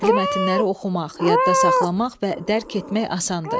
Nəqli mətnləri oxumaq, yadda saxlamaq və dərk etmək asandır.